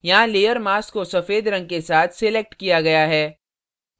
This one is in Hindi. यहाँ layer mask को सफ़ेद रंग के साथ selected किया गया है